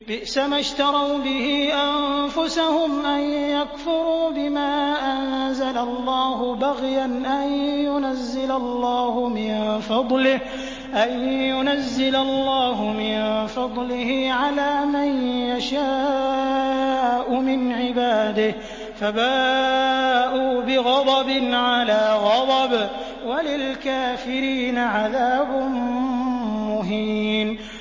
بِئْسَمَا اشْتَرَوْا بِهِ أَنفُسَهُمْ أَن يَكْفُرُوا بِمَا أَنزَلَ اللَّهُ بَغْيًا أَن يُنَزِّلَ اللَّهُ مِن فَضْلِهِ عَلَىٰ مَن يَشَاءُ مِنْ عِبَادِهِ ۖ فَبَاءُوا بِغَضَبٍ عَلَىٰ غَضَبٍ ۚ وَلِلْكَافِرِينَ عَذَابٌ مُّهِينٌ